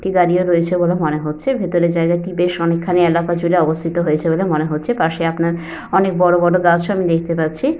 দাঁড়িয়ে রয়েছে বলে মনে হচ্ছে। ভিতরের জায়গাটি বেশ অনেকখানি এলাকা জুড়ে অবস্থিত হয়েছে বলে মনে হচ্ছে পাশে আপনার অনেক বড় বড় গাছ ও আমি দেখতে পাচ্ছি।